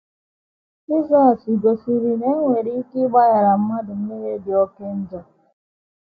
Jizọs gosiri na e nwere ike ịgbaghara mmadụ mmehie dị oké njọ